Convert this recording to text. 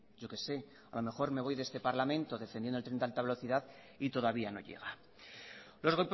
yo qué sé a lo mejor me voy de este parlamento defendiendo el tren de alta velocidad y todavía no llega los